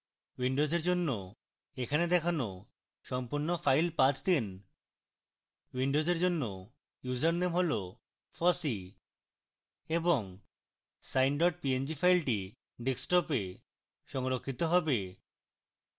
windows জন্য এখানে দেখানো সম্পূর্ণ file path দিন windows জন্য ইউসারনেম হল fossee এবং sine png file desktop এ সংরক্ষিত হবে